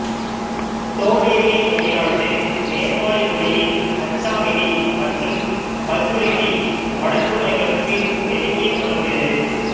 தோடேலி மொழியானது நேபாளி மொழியின் அச்சாமெலி மற்றும் பஜ்ஜுரேலி வழக்கு மொழிகளுக்கு நெருங்கிய தொடர்புடையது